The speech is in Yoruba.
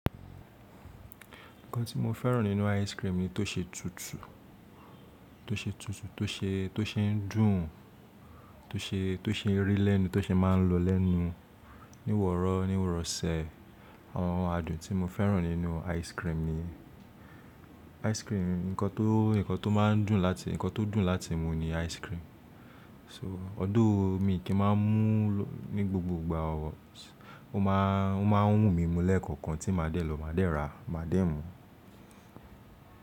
Nǹkan tí mo fẹ́ràn nínú ice cream ni tó ṣe tútù, tó ṣe tútù, tó ṣe, tó ṣe ń dùn, tó ṣe, tó ṣe e ri lẹ́nu, tó ṣe máa ń lọ lẹ́nu, níwọ̀rọ́, níwọ̀rọ̀sẹ̀. Àwọn àdùn tí mo fẹ́ràn nínú ice cream niyen. Ice cream, ǹnkan tó, ǹnkan tó máa ń dùn láti, ǹnkan tó dùn láti mu ni ice cream. So although mi kí n máa ń mú ní gbogbo ìgbà ọ, ó máa ń, ó má a ń wù mí mu lẹ́ẹ̀kọ̀kan tí màá dé lọ, màá dé ra, màá dé mu.